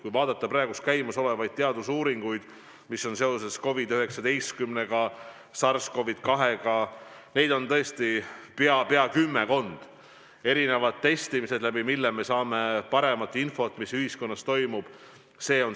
Kui vaadata praegu käimasolevaid teadusuuringuid, mis käivad seoses COVID-19-ga, SARS-CoV-2-ga, siis näeme, et neid on pea kümmekond: erinevad testimised, mille abil me saame paremat infot, mis ühiskonnas toimub.